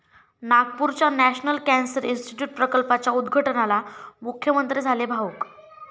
नागपूरच्या national cancer institute प्रकल्पाच्या उद्घाटनाला मुख्यमंत्री झाले भावुक